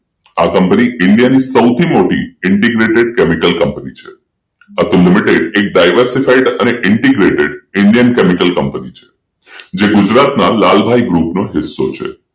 આ company India ની સૌથી મોટી Integrated Chemical Company છે Atul limited Diversify Integrated Indian Chemical Company છે જે ગુજરાતના લાલભાઈ ગ્રુપ નો હિસ્સો છે